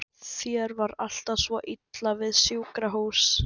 Þér var alltaf svo illa við sjúkrahús.